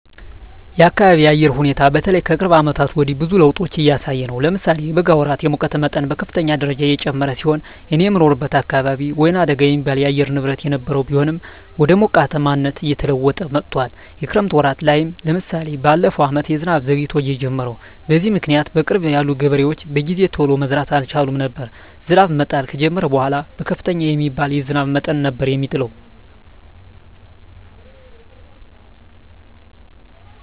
የአካቢየ የአየር ሁኔታ በተለይ ከቅርብ አመታት ወዲህ ብዙ ለዉጦች እያሳየ ነው። ለምሳሌ የበጋ ወራት የሙቀት መጠን በከፍተኛ ደረጃ የጨመረ ሲሆን እኔ የምኖርበት አካባቢ ወይናደጋ የሚባል የአየር ንብረት የነበረው ቢሆንም ወደ ሞቃታማነት እየተለወጠ መጥቶአል። የክረምት ወራት ላይም ለምሳሌ በለፈው አመት ዝናብ ዘግይቶ የጀመረው። በዚህም ምክኒያት በቅርብ ያሉ ገበሬዎች በጊዜ ቶሎ መዝራት አልቻሉም ነበር። ዝናብ መጣል ከጀመረም በኃላ ከፍተኛ የሚባል የዝናብ መጠን ነበር የሚጥለው።